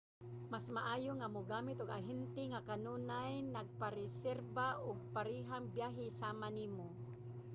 mas maayo nga mogamit og ahente nga kanunay nagapareserba og parehang biyahe sama nimo